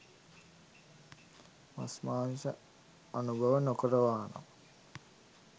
මස් මාංශ අනුභව නොකරනවානම්